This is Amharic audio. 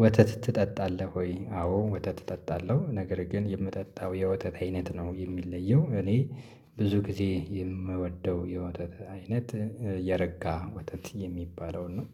ወተት ትጠጣለህ ወይ? አዎ ወተት እጠጣለሁ ነገር ግን የምጠጣው የወተት አይነት ነው የሚለየው እኔ ብዙ ጊዜ የምወደው የወተት አይነት የረጋ ወተት የሚባለው ነው።